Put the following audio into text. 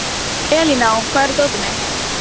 Elíná, hvar er dótið mitt?